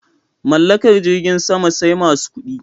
Mallakar jirgin sama sai masu kuɗi